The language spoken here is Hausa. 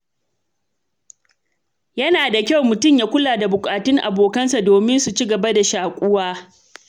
Yana da kyau mutum ya kula da bukatun abokansa domin su ci gaba da shakuwa.